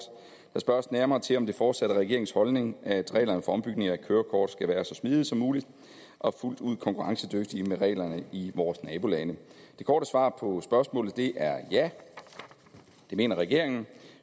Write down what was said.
der spørges nærmere til om det fortsat er regeringens holdning at reglerne for ombytning af kørekort skal være så smidige som muligt og fuldt ud konkurrencedygtige med reglerne i vores nabolande det korte svar på spørgsmålet er ja det mener regeringen